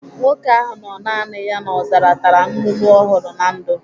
Nwoke ahụ nọ naani ya n'ọzara tara nnụnụ ọ hụrụ na ndụ.